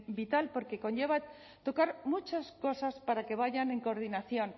vital porque conlleva tocar muchas cosas para que vayan en coordinación